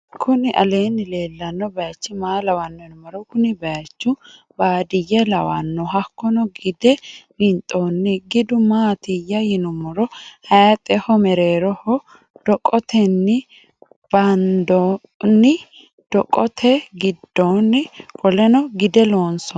kuni alenni lelano bachi maa lawano yiinumoro. kuni bayichu baadiyelawano hakono gide winxonni gidu mattiya yinumoro hayixeho mereroho doqoteni bandonnidoqote gidonni qoleno gide lonsoni.